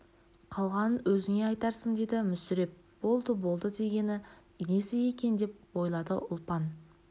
қалғанын өзіне айтарсың деді мүсіреп болды болды дегені несі екен деп ойлады ұлпан